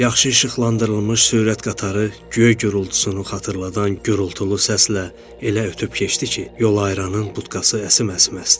Yaxşı işıqlandırılmış sürət qatarı göy gurltusunu xatırladan gurultulu səslə elə ötüb keçdi ki, yol ayırranın butkası əsim-əsim əsdi.